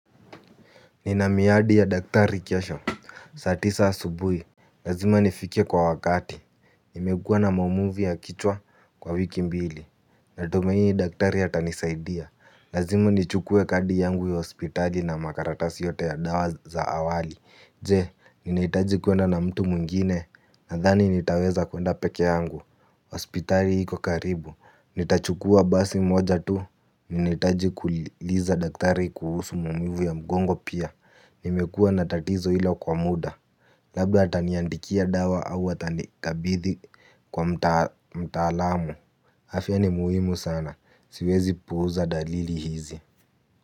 Nina miadi ya daktari kesho, satisa asubuhi. Lazima nifike kwa wakati, imekuwa na maumuvu ya kichwa kwa wiki mbili. Natumai daktari atanisaidia, lazima nichukue kadi yangu ya hospitali na makaratasi yote ya dawa za awali, jee ninaitaji kuenda na mtu mwingine, nadhani nitaweza kuenda peke yangu, hospitali hiko karibu. Nitachukua basi moja tu. Ninaitaji kuuliza daktari kuhusu maumivu ya mgongo pia. Nimekua natatizo ilo kwa muda. Labda ataniandikia dawa au atani kabidhi kwa mtaalamu afya ni muhimu sana. Siwezi puuza dalili hizi.